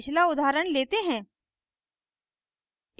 पिछला उदाहरण let हैं